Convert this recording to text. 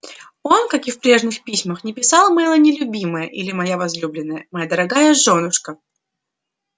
он как и в прежних письмах не писал мелани любимая или моя возлюбленная моя дорогая жёнушка